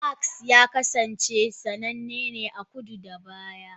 Damask ya kasance sananne a Kudu-kudu a baya.